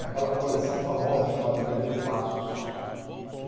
Naquela coleção famosa chamada Primeiros Passos.